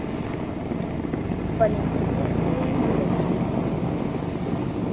валентине леонидовне